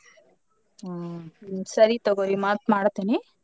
ಹ್ಮ್ ಸರಿ ತಗೋರಿ ಮತ್ತ್ ಮಾಡತೇನಿ.